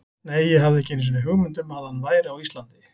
Nei, ég hafði ekki einu sinni hugmynd um að hann væri á Íslandi.